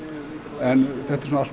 en þetta er allt í